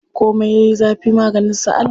Komi yayi zafi maganin sa Allah.